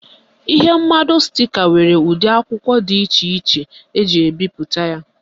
Ihe mmado stika nwere ụdị akwụkwọ dị iche eji ebipụta ya.